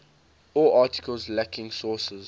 all articles lacking sources